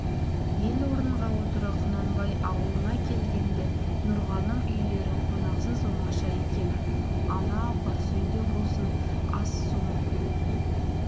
ел орынға отыра құнанбай аулына келген-ді нұрғаным үйлері қонақсыз оңаша екен анау қарсы үйде болсын ас-суын